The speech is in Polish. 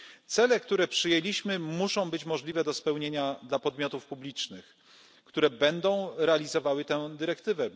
Cele, które przyjęliśmy muszą być możliwe do spełnienia dla podmiotów publicznych, które będą realizowały tę dyrektywę.